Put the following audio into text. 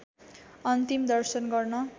अन्तिम दर्शन गर्न